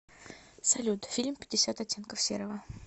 салют фильм пятьдесят оттенков серого